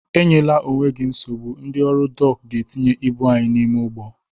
Enyela onwe gị nsogbu, ndị ọrụ dọk ga-etinye ibụ anyị n'ime ụgbọ